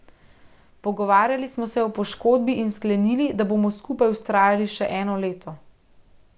Pogovarjali smo se o poškodbi in sklenili, da bomo skupaj vztrajali še eno leto.